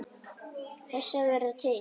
Þess að vera til.